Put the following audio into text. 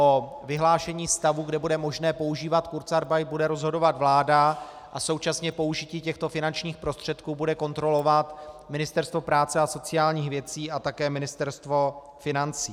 O vyhlášení stavu, kdy bude možné používat kurzarbeit, bude rozhodovat vláda a současně použití těchto finančních prostředků bude kontrolovat Ministerstvo práce a sociálních věcí a také Ministerstvo financí.